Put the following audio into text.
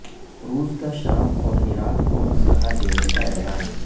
روس کا شام اور عراق کو اسلحہ دینے کا اعلان